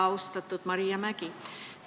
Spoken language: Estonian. Austatud Maria Mägi!